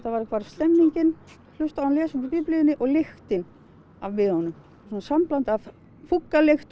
stemmingin hlusta á hann lesa upp úr Biblíunni og lyktin af miðunum svona sambland af fúkkalykt og